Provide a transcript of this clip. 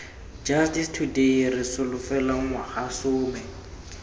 justice today re solofela ngwagasome